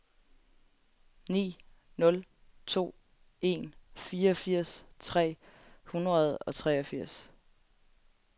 ni nul to en fireogfirs tre hundrede og treogfirs